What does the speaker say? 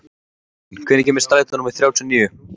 Örbrún, hvenær kemur strætó númer þrjátíu og níu?